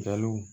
Galo